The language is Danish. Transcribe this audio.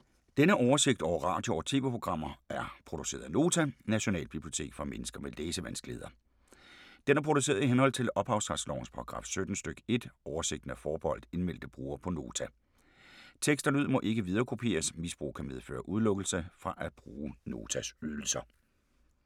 Denne oversigt over radio og TV-programmer er produceret af Nota, Nationalbibliotek for mennesker med læsevanskeligheder. Den er produceret i henhold til ophavsretslovens paragraf 17 stk. 1. Oversigten er forbeholdt indmeldte brugere på Nota. Tekst og lyd må ikke viderekopieres. Misbrug kan medføre udelukkelse fra at bruge Notas ydelser.